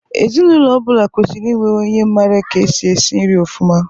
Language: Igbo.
Ezinụlọ ọ bụla kwesịrị inwe onye mara ka èsì ésí nri ọfụma.